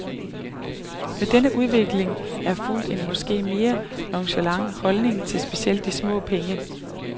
Med denne udvikling er fulgt en måske mere nonchalant holdning til specielt de små penge.